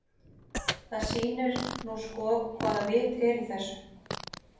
Það sýnir nú sko hvaða vit er í þessu.